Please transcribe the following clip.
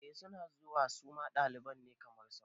Eh suna zuwa suma ɗalibai ne kamar sauran